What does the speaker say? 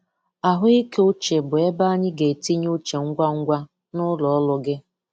Ahụike uche bụ ebe anyị ga-etinye uche ngwa ngwa na ụlọ ọrụ gị.